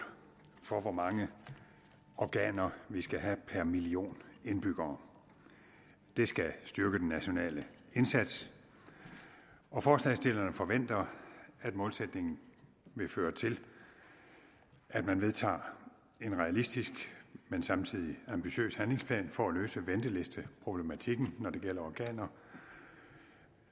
for hvor mange organer vi skal have per million indbyggere det skal styrke den nationale indsats og forslagsstillerne forventer at målsætningen vil føre til at man vedtager en realistisk men samtidig ambitiøs handlingsplan for at løse ventelisteproblematikken når det gælder organer